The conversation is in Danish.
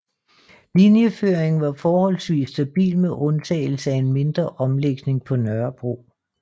Linjeføringen var forholdsvis stabil med undtagelse af en mindre omlægning på Nørrebro